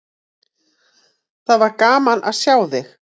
Það var gaman að sjá þig!